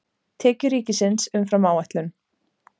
Tekjur ríkisins umfram áætlun